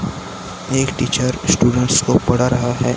एक teacher students को पढ़ा रहा है।